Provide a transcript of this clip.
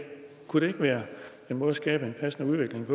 kunne det ikke være en måde at skabe en passende udvikling